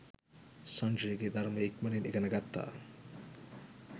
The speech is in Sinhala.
සංජයගේ ධර්මය ඉක්මනින් ඉගෙන ගත්තා